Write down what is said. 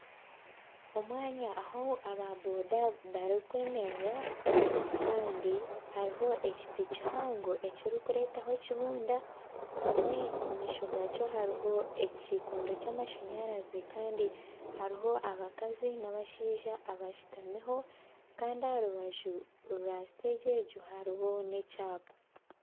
Omwanya ahu ba boda barikwemerera Kandi hariho ekiti kihango ekirikureetaho ekibunda hamwe omu maisho gakyo hariho ekikondo kyamasanyarazi Kandi hariho abakazi nabashaija abashutamiho Kandi aharubaju rwa siteegi egyo hariho nekyapa